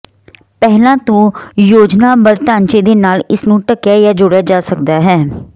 ਪਹਿਲਾਂ ਤੋਂ ਯੋਜਨਾਬੱਧ ਢਾਂਚੇ ਦੇ ਨਾਲ ਇਸ ਨੂੰ ਢੱਕਿਆ ਜਾਂ ਜੋੜਿਆ ਜਾ ਸਕਦਾ ਹੈ